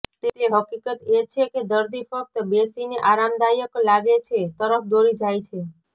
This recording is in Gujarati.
તે હકીકત એ છે કે દર્દી ફક્ત બેસીને આરામદાયક લાગે છે તરફ દોરી જાય છે